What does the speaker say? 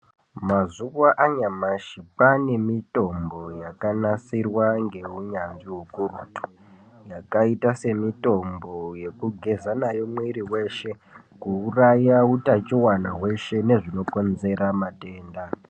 Mazuva anyamashi kwane mitombo yaka nasirwa nge unyanzvi ukurutu yaka ita se mitombo yeku geza nayo mwiri weshe ku uraya utachiwana hweshe nezvino konzera matenda.